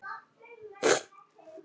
Hvers á þá Egill að gjalda?